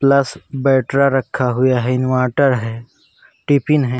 Plus battery रखा हुया है। इन्वाटर है। टिफिन है।